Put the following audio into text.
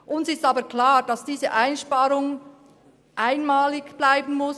Uns ist aber klar, dass diese Einsparung einmalig bleiben muss.